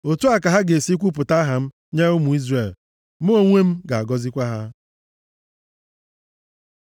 “Otu a ka ha ga-esi kwupụta aha m nye ụmụ Izrel. Mụ onwe m ga-agọzikwa ha.”